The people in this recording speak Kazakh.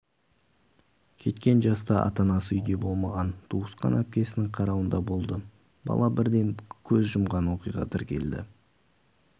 кеткен жаста ата-анасы үйде болмаған туысқан әпкесінің қарауында болды бала бірден көз жұмған оқиға тіркелді